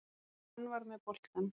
Hann var með boltann.